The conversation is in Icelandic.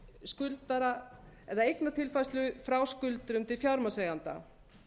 skuldara eða eignatilfærslu frá skuldurum til fjármagnseigenda